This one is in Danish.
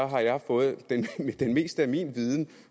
har jeg fået det meste af min viden